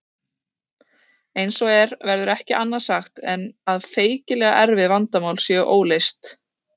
Eins og er verður ekki annað sagt en að feikilega erfið vandamál séu óleyst.